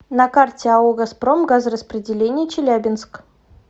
на карте ао газпром газораспределение челябинск